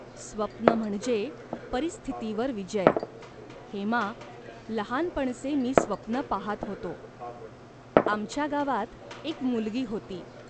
स्वप्न म्हणजे परिस्थितीवर विजय." "हेमा, लहानपणचे मी स्वप्न पाहात होतो. आमच्या गावात एक मुलगी होती.